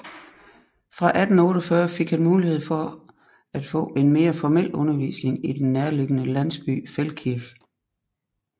Fra 1848 fik han mulighed for at få en mere formel undervisning i den nærliggende landsby Feldkirch